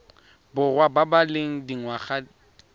borwa ba ba leng dingwaga